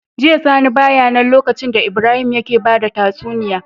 Jiya sani baya nan lokacin da Ibrahim yake bada tatsuniya